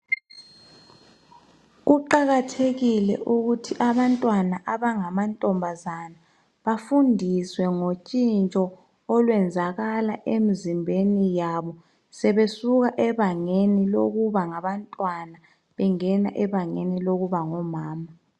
Kuqakathekile ukuthi abantwana abangamankazana bafundiswe ngotshintsho olwenzakala emizimbeni yabo sebesuka ebangeni lokuba ngabantwana bengena ebangeni lokuba ngomama.